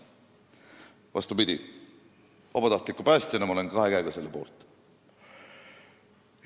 Vastupidi, vabatahtliku päästjana ma olen kahe käega selle poolt.